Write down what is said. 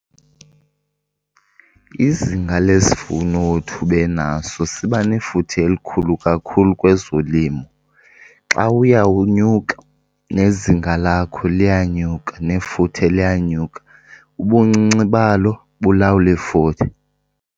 Izinga lesivuno othi ubenaso siba nefuthe elikhulu kakhulu kwezolimo. Xa uya unyuka nezinga lakho liyanyuka, nefuthe liyanyuka. Ubuncinci balo bulawula ifuthe.